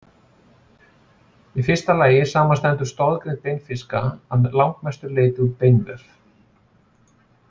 Í fyrsta lagi samanstendur stoðgrind beinfiska að langmestu leyti úr beinvef.